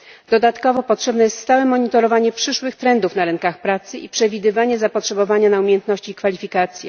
Dodatkowo potrzebne jest stałe monitorowanie przyszłych trendów na rynkach pracy i przewidywanie zapotrzebowania na umiejętności i kwalifikacje.